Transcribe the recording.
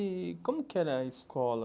E como que era a escola?